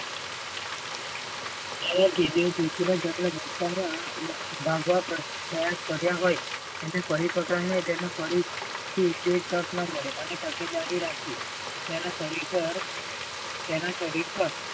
એ કેદીઓ ના ભગવા પ્રયાસ કર્યા હોય એને ફરી પોતાના ફરી થી એને તક ન્ મળે અને તકેદારી રાખવી. તેના શરીર પર તેના શરીર પર